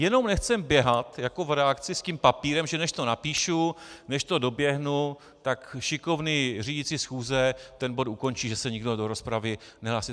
Jenom nechceme běhat jako v redakci s tím papírem, že než to napíšu, než to doběhnu, tak šikovný řídící schůze ten bod ukončí, že se nikdo kdo rozpravy nehlásí.